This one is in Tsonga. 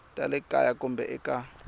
ta le kaya kumbe eka